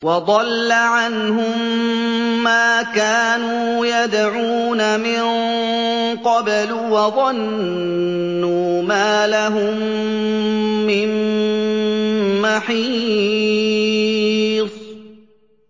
وَضَلَّ عَنْهُم مَّا كَانُوا يَدْعُونَ مِن قَبْلُ ۖ وَظَنُّوا مَا لَهُم مِّن مَّحِيصٍ